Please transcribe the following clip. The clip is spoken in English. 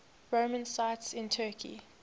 roman sites in turkey